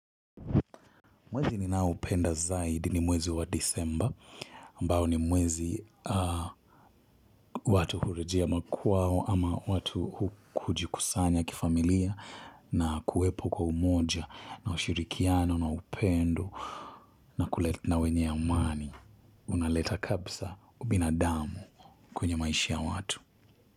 Mwezi ninao upenda zaidi ni mwezi wa disemba ambao ni mwezi watu hurejea makwao ama watu kujikusanya kifamilia na kuwepo kwa umoja na ushirikiano na upendo na wenye ya umani unaleta kabisa ubina damu kwenye maishi ya watu.